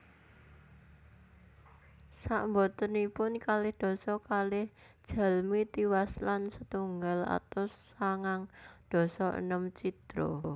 Sakbotenipun kalih dasa kalih jalmi tiwas lan setunggal atus sangang dasa enem cidra